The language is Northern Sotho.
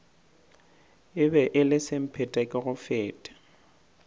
e be e le semphetekegofete